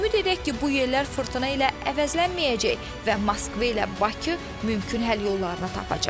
Ümid edək ki, bu yellər fırtına ilə əvəzlənməyəcək və Moskva ilə Bakı mümkün həll yollarını tapacaq.